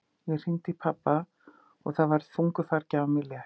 Ég hringdi í pabba og það var þungu fargi af mér létt.